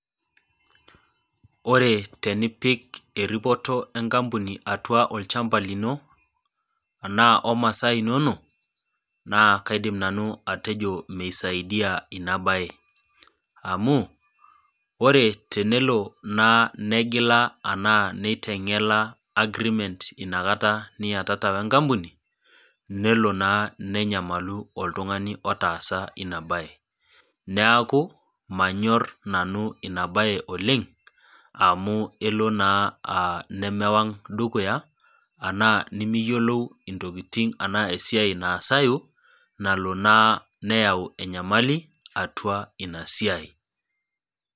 Ore tenipik eripoto enkampuni atua olchamba lino, anaa o masaa inono, naa kaidim nanu atejo meisaidia ina baye, amu, ore tenelo naa negila anaa neiteng'ela agreemenr ina kata niatata we enkampuni, nelo naa nenyamalu oltung'ani otaasa ina baye. Neaku manyor nanu ina baye oleng' amu elo naa nemewang' dukuya anaa nimiyolou intokitin anaa esiai naasayu nalo naa neyau enyamali, atua inna siai.